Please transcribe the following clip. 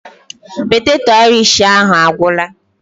Poteto Aịrish ahụ a gwụla?